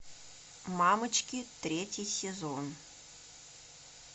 мамочки третий сезон